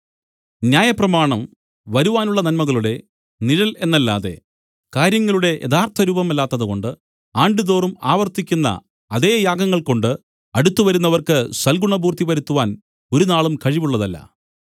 ന്യായപ്രമാണം വരുവാനുള്ള നന്മകളുടെ നിഴൽ എന്നല്ലാതെ കാര്യങ്ങളുടെ യഥാർത്ഥ രൂപമല്ലാത്തതുകൊണ്ട് ആണ്ടുതോറും ആവർത്തിക്കുന്ന അതേ യാഗങ്ങൾ കൊണ്ട് അടുത്തുവരുന്നവർക്ക് സൽഗുണപൂർത്തി വരുത്തുവാൻ ഒരുനാളും കഴിവുള്ളതല്ല